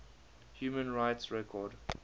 human rights record